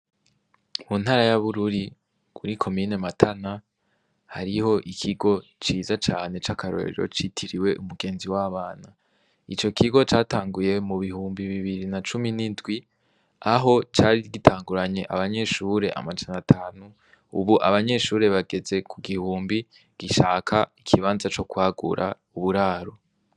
Mu ntara yabururi guri ko mine matana hariho ikigo ciza cane c'akarorero citiriwe umugenzi w'abana ico kigo catanguye mu bihumbi bibiri na cumi n'indwi aho cari rgitanguranye abanyeshure amacana atanu, ubu abanyeshure bageze ku gihumbi gishaka ikibanza co kwagura uburaro.